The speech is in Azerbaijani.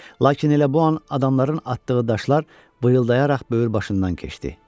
Lakin elə bu an adamların atdığı daşlar vıyıldayaraq böyür başından keçdi.